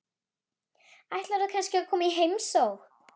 Ætlarðu kannski að koma í heimsókn?